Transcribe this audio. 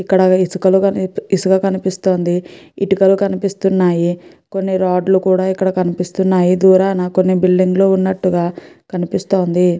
ఇక్కడ ఇసుక కనిపిస్తోంది ఇటుకలు కనిపిస్తున్నాయి కొన్ని రాడ్లు కూడా ఇక్కడ కనిపిస్తున్నాయి దూరాన కొన్ని బిల్డింగ్ లు ఉన్నట్టుగ కనిపిస్తోంది.